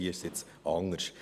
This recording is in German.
Hier ist es jetzt anders.